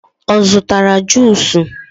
ọ zụtara juusu?